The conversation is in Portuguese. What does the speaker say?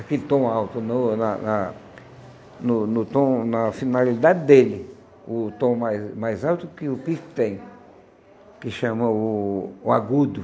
Aquele tom alto no na na no no tom na finalidade dele, o tom mais mais alto que o pife tem, que chama o o agudo.